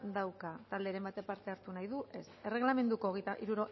dauka talderen batek parte hartu nahi du ez erregelamenduko